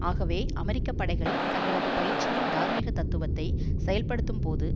ஆகவே அமெரிக்க படைகள் தங்களது பயிற்சியின் தார்மீகத் தத்துவத்தை செயற்படுத்தும்போது